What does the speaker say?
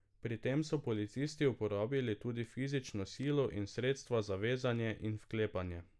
Pri tem so policisti uporabili tudi fizično silo in sredstva za vezanje in vklepanje.